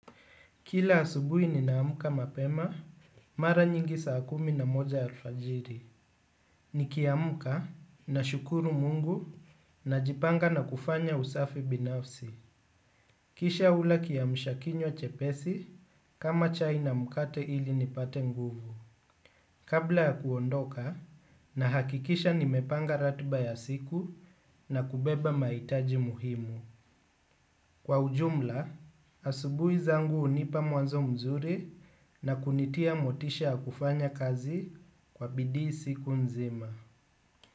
Kila asubuhi ninaamka mapema, mara nyingi saa kumi na moja alfajiri. Nikiamka nashukuru mungu najipanga na kufanya usafi binafsi. Kisha hula kiamsha kinywa chepesi kama chai na mkate ili nipate nguvu. Kabla ya kuondoka nahakikisha nimepanga ratiba ya siku na kubeba mahitaji muhimu. Kwa ujumla, asubuhi zangu hunipa mwanzo mzuri na kunitia motisha kufanya kazi kwa bidii siku nzima.